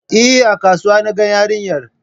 Eh, A kasuwa na gan yarinyar